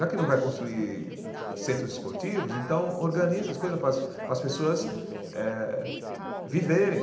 Já que não vai construir centros esportivos, então organiza as coisas para as para as pessoas eh viverem.